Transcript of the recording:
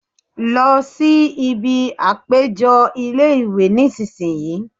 Lọ síbi àpéjọ ilé-ìwé nísìínyi